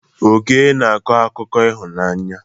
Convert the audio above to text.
Oke na-akọ akụkọ ịhụnanya.